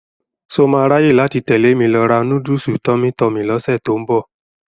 Ṣọ máa ráyè tẹ̀lé mi lọ ra núdùsù Tummy Tummy lọ́sẹ̀ tó ń bọ̀?